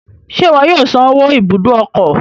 Ṣe iwọ yóò san owó ibùdó ọkọ?